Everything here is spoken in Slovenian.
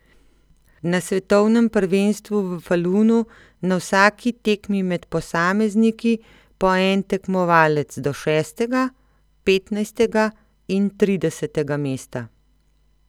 Na svetovnem prvenstvu v Falunu na vsaki tekmi med posamezniki po en tekmovalec do šestega, petnajstega in tridesetega mesta.